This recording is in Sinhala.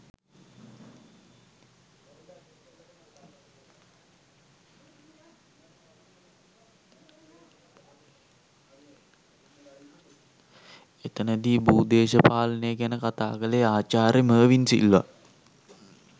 එතනදි භූදේශපාලනය ගැන කතා කළේ ආචාර්ය මර්වින් සිල්වා